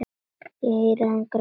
Ég heyri hann gráta.